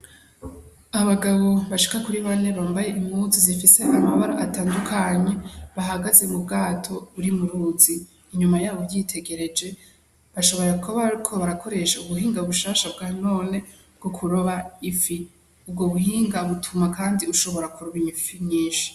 Abagabo bashika kuri bane bambaye impuzu zifise amabara atandukanye, bahagaze mu bwato buri muruzi inyuma yaho uvyitegereje bashobora kuba bariko barakoresha ubuhinga bushasha bwa none bwo kuroba ifi ubwo buhinga butuma kandi ushobora kuroba ifi nyinshi.